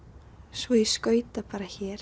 svo ég skauta bara hér